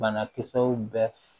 Bana kisɛw bɛ